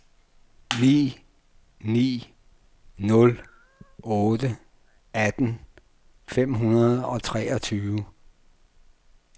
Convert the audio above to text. ni ni nul otte atten fem hundrede og treogtyve